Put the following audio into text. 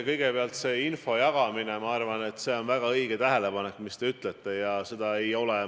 Kõigepealt, see info jagamine – ma arvan, et see on väga õige tähelepanek, mis te ütlesite.